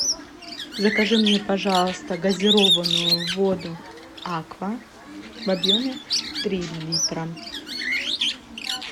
закажи мне пожалуйста газированную воду аква в объеме три литра